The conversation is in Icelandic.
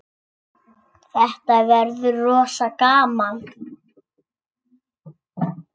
Þetta verður rosa gaman.